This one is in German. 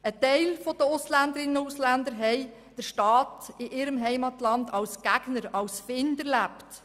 Ein Teil der Ausländerinnen und Ausländer haben den Staat in ihrer Heimat als Gegner und Feind erlebt.